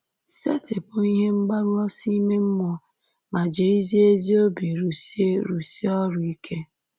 Setịpụ ihe mgbaru ọsọ ime mmụọ, ma jirizie ezi obi rụsie rụsie ọrụ ike.